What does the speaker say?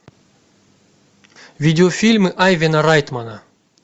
видеофильмы айвена райтмана